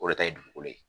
O de ta ye dugukolo ye